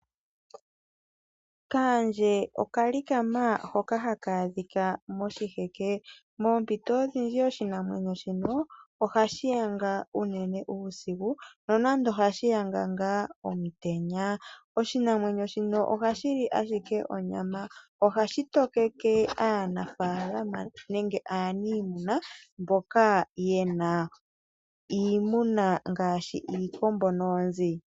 Kaandje okalikama hoka haka adhika moshiheke, moompito odhindji oshinamwenyo shino, ohashi yanga unene uusiku nonando ohashi yanga ngaa omutenya. Oshinamwenyo shino ohashi li ashike onyama. Ohashi tokeke aanafaalama nenge aaniimuna mboka yena iimuna ngaashi iikombo noonzi.